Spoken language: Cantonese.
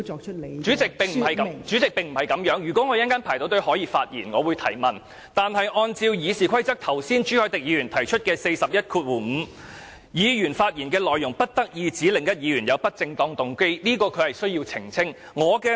代理主席，並不是這樣子的，如果我稍後輪候得到可以發言，我會提問，但按照剛才朱凱廸議員提出的《議事規則》第415條，議員發言內容不得意指另一議員有不正當動機，這是代理主席需要澄清的。